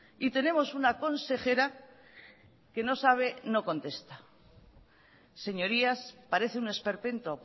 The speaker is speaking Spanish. y tenemos una consejera que no sabe no contesta señorías parece un esperpento